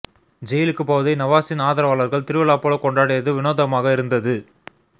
ஜெயிலுக்கு போவதை நவாஸின் ஆதரவாளர்கள் திருவிழா போல கொண்டாடியது வினோதமாக இருந்தது